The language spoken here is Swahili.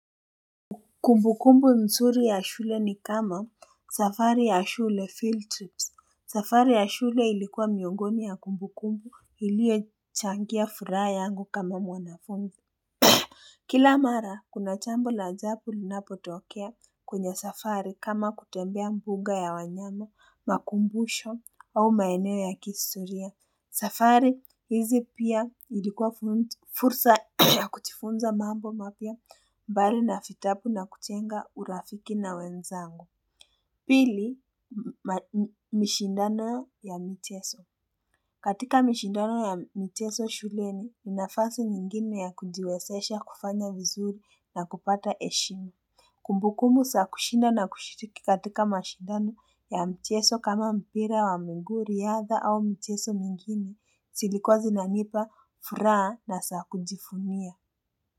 Kumbukumbu msuri ya shule ni kama safari ya shule field trips safari ya shule ilikuwa miongoni ya kumbukumbu iliochangia furaha yangu kama mwanafunzi Kila mara, kuna chambo la ajapu linapotokea kwenye safari kama kutembea mbuga ya wanyama, makumbusho au maeneo ya kistoria. Safari, hizi pia ilikuwa fursa ya kuchifunza mambo mapya mbali na fitapu na kuchenga urafiki na wenzangu. Pili, mishindano ya micheso. Katika mshindano ya mcheso shuleni, nafasi nyingine ya kujiwesesha kufanya vizuri na kupata eshimu. Kumbukumu, saa kushinda na kushiriki katika mshindano ya mcheso kama mpira wa miguu riaadha au mcheso mingine, silikuwa zinanipa, furaha na saa kujifunia.